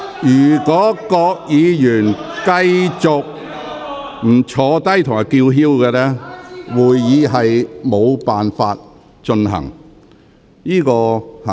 如果議員拒絕坐下並繼續叫喊，會議將無法進行。